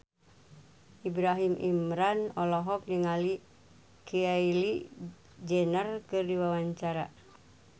Ibrahim Imran olohok ningali Kylie Jenner keur diwawancara